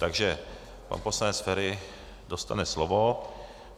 Takže pan poslanec Feri dostane slovo.